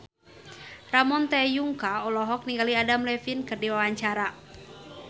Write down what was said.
Ramon T. Yungka olohok ningali Adam Levine keur diwawancara